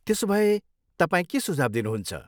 त्यसोभए, तपाईँ के सुझाव दिनुहुन्छ?